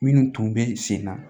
Minnu tun bɛ sen na